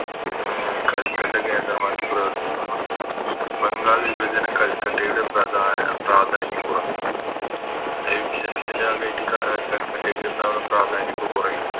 അഹ് കൽക്കട്ട കേന്ദ്രമാക്കി പ്രവർത്തിക്കുന്ന ബംഗാൾ വിഭജനം കൽക്കട്ടയുടെ പ്രധാ പ്രാധാന്യം കുറക്കും അഹ് വിഭചനത്തിൻറെ ഭാഗയിറ്റ് അഹ് കൽക്കറ്റയ്കിണ്ടാവണ പ്രധാന്യോക്കെ കൊറയും